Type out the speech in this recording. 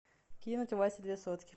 кинуть васе две сотки